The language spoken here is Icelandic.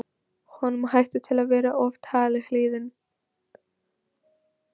Honum hætti til að vera of talhlýðinn.